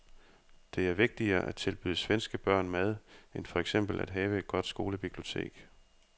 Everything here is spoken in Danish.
Det er vigtigere at tilbyde svenske børn mad end for eksempel at have et godt skolebibliotek.